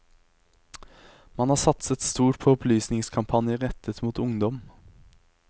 Man har satset stort på opplysningskampanjer rettet mot ungdom.